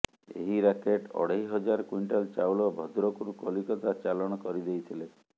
ଏହି ରାକେଟ୍ ଅଢେଇ ହଜାର କ୍ୱିଣ୍ଟାଲ ଚାଉଳ ଭଦ୍ରକରୁ କଲିକତା ଚାଲାଣ କରିଦେଇଥିଲେ